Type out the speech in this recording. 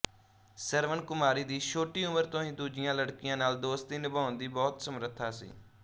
ਸਵਰਨਕੁਮਾਰੀ ਦੀ ਛੋਟੀ ਉਮਰ ਤੋਂ ਹੀ ਦੂਜੀਆਂ ਲੜਕੀਆਂ ਨਾਲ ਦੋਸਤੀ ਨਿਭਾਉਣ ਦੀ ਬਹੁਤ ਸਮਰੱਥਾ ਸੀ